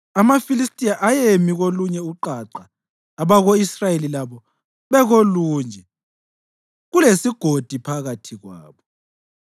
AmaFilistiya ayemi kolunye uqaqa abako-Israyeli labo bekolunye, kulesigodi phakathi kwabo.